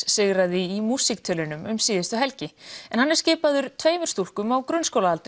sigraði í músíktilraunum um síðustu helgi en hann er skipaður tveimur stúlkum á grunnskólaaldri